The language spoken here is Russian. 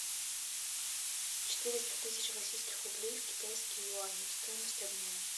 четыреста тысяч российских рублей в китайские юани стоимость обмена